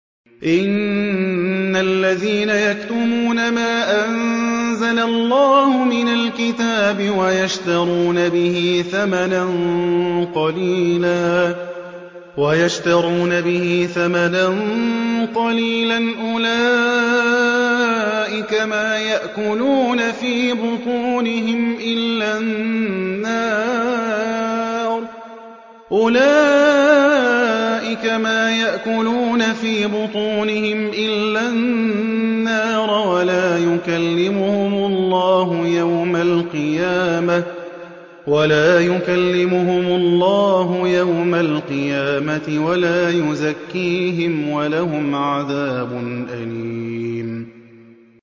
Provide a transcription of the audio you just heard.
إِنَّ الَّذِينَ يَكْتُمُونَ مَا أَنزَلَ اللَّهُ مِنَ الْكِتَابِ وَيَشْتَرُونَ بِهِ ثَمَنًا قَلِيلًا ۙ أُولَٰئِكَ مَا يَأْكُلُونَ فِي بُطُونِهِمْ إِلَّا النَّارَ وَلَا يُكَلِّمُهُمُ اللَّهُ يَوْمَ الْقِيَامَةِ وَلَا يُزَكِّيهِمْ وَلَهُمْ عَذَابٌ أَلِيمٌ